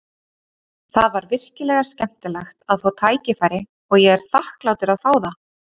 Það var virkilega skemmtilegt að fá tækifæri og ég er þakklátur að fá það.